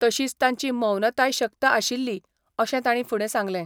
तशीच तांची मौनताय शक्त आशिल्ली अशें तांणी फुडें सांगलें.